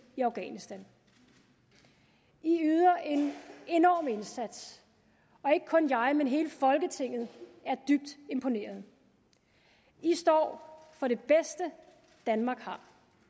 i afghanistan i yder en enorm indsats og ikke kun jeg men hele folketinget er dybt imponeret i står for det bedste danmark har